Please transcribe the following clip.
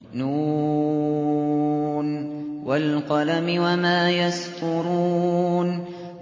ن ۚ وَالْقَلَمِ وَمَا يَسْطُرُونَ